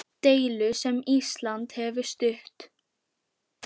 Deilu sem Ísland hefur stutt.